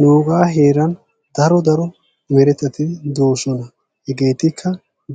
Nugaa heeran daro daro meretati de"oosona. Hegeetikka